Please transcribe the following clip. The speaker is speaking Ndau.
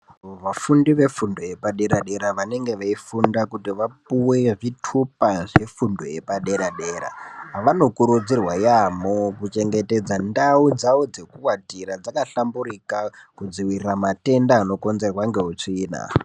Vafundi vefundo yepadera dera vanenge veifunda kuti vapiwe zvitupa yepadera dera vanokurudzirwa yambo mukuchengetedza ndau dzawo dzekuatira dzakahlamburuka kudzivirira matenda anokonzwrwa netsvina.